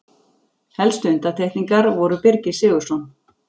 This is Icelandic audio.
Helstu undantekningar voru Birgir Sigurðsson